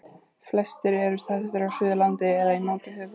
flestir eru staðsettir á suðurlandi eða í nánd við höfuðborgarsvæðið